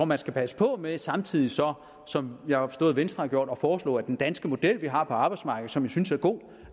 man skal passe på med samtidig så som jeg har forstået venstre har gjort at foreslå at den danske model vi har på arbejdsmarkedet og som jeg synes er god